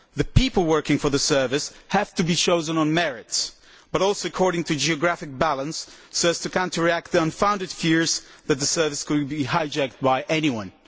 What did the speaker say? The people working for the service have to be chosen on merit, but also according to geographic balance so as to counteract the unfounded fears that the Service could be hijacked by anyone.